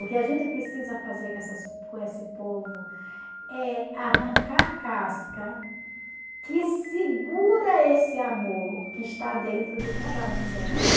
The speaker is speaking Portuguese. O que a gente precisa fazer com essas com esse povo é arrancar a casca que segura esse amor que está dentro de cada um delas.